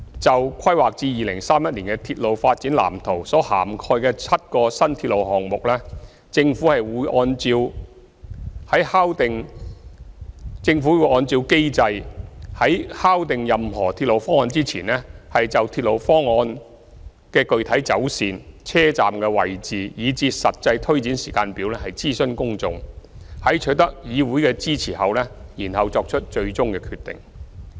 就規劃至2031年的鐵路發展藍圖所涵蓋的7個新鐵路項目，政府會按照機制，在敲定任何鐵路方案前，就鐵路方案的具體走線、車站位置，以至實際推展時間表諮詢公眾，在取得議會的支持後作出最終決定。